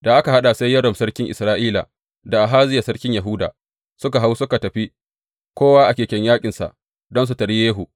Da aka haɗa, sai Yoram sarkin Isra’ila, da Ahaziya sarkin Yahuda, suka hau suka tafi, kowa a keken yaƙinsa, don su taryi Yehu.